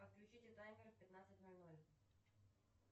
отключите таймер в пятнадцать ноль ноль